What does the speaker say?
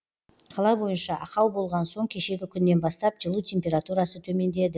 қала бойынша ақау болған соң кешегі күннен бастап жылу температурасы төмендеді